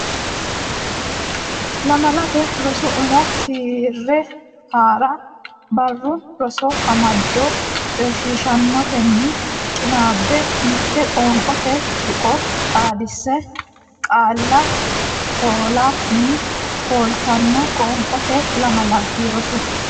Lamalate Rosi Umo Keere Haa ra Barru Rosi Amado coyishiishaanotenni qinaabbe mitte Qoonqote tuqqo xaadise qaalla foolanni fultanno qoonqooti Lamalate Rosi.